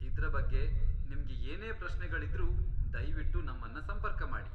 ಇದ್ರ ಬಗ್ಗೆ ನಿಮ್ಗೆ ಏನೇ ಪ್ರಶ್ನೆಗಳಿದ್ರೂ ದಯ್ವಿಟ್ಟು ನಮ್ಮನ್ನ ಸಂಪರ್ಕ ಮಾಡಿ.